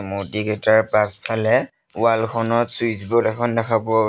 মূৰ্ত্তিকেইটাৰ পাছফালে ৱাল খনত switch board এখন দেখা পোৱা গৈ--